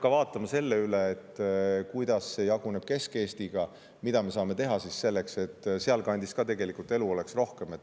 Võib-olla peab siis üle vaatama, kuidas see jaguneb Kesk‑Eesti puhul ja mida me saame teha selleks, et ka sealkandis oleks rohkem elu.